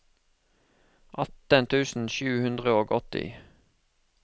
atten tusen sju hundre og åtti